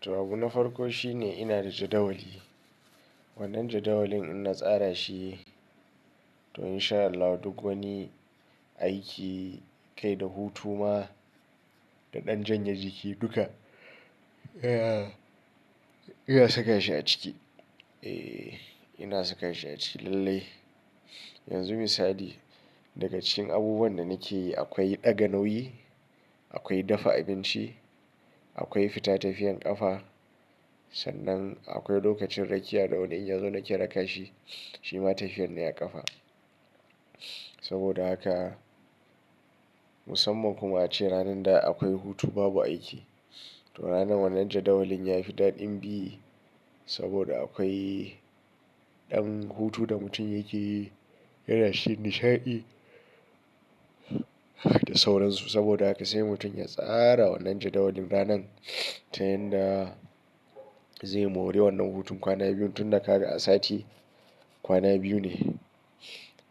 To abuna farko shine ina da jadawali. Wannan jadawalin ina tsara shi don in sha Allah duk wani aiki, kai da hutu ma da ɗan janye jiki duka. Eee ina saka shi a ciki. Eee ina saka shi a ciki lallai. Yanzu misali daga cikin abubuwan da nake yi akwai ɗaga nauyi, akwai dafa abinci, akwai fita tafiyan ƙafa sannan akwai lokacin rakiya da wani in ya zo nake raka shi, shi ma tafiyar ne a ƙafa. Saboda haka musamman kuma ace ranan da akwai hutu babu aiki. To ranan wannan jadawalin yafi daɗin bi saboda akwai ɗan hutu da mutum yake yana shi nishaɗi da sauransu. Saboda haka sai mutum ya tsara wannan jadawalin ranan ta yanda zai more wannan hutun. Kwanan biyun tun da ka ga a sati kwana biyu ne.